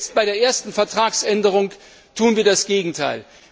Jetzt bei der ersten Vertragsänderung tun wir das Gegenteil.